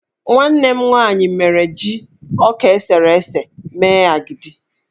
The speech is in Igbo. Nwanne m nwaanyị mere ji ọka esere ese mee agidi.